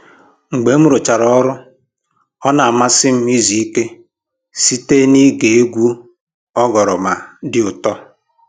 Mgbe m rụchara ọrụ, ọ na-amasị m izu ike site n'ige egwu oghoroma dị ụtọ